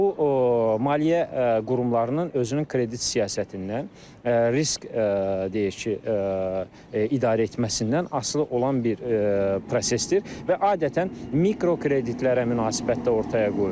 Bu maliyyə qurumlarının özünün kredit siyasətindən, risk deyək ki, idarə etməsindən asılı olan bir prosesdir və adətən mikrokreditlərə münasibətdə ortaya qoyulur.